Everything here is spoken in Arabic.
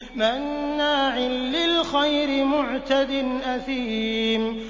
مَّنَّاعٍ لِّلْخَيْرِ مُعْتَدٍ أَثِيمٍ